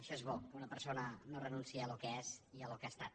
això és bo que una persona no renunciï al que és i al que ha estat